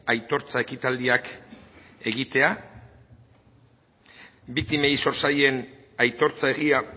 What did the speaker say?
aitortza ekitaldiak egitea biktimei zor zaien aitortza egia